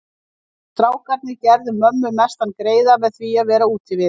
Við strákarnir gerðum mömmu mestan greiða með því að vera úti við.